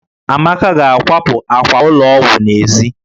Amaka ga-akwapụ àkwà ụlọ ọgwụ n'èzí